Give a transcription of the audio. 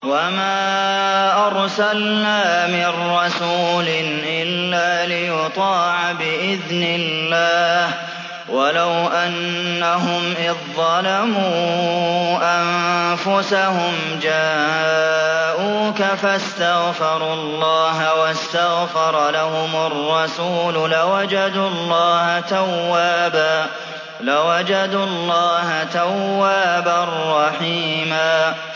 وَمَا أَرْسَلْنَا مِن رَّسُولٍ إِلَّا لِيُطَاعَ بِإِذْنِ اللَّهِ ۚ وَلَوْ أَنَّهُمْ إِذ ظَّلَمُوا أَنفُسَهُمْ جَاءُوكَ فَاسْتَغْفَرُوا اللَّهَ وَاسْتَغْفَرَ لَهُمُ الرَّسُولُ لَوَجَدُوا اللَّهَ تَوَّابًا رَّحِيمًا